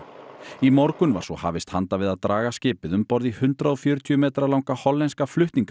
í morgun var svo hafist handa við að draga skipið um borð í hundrað og fjörutíu metra langa hollenska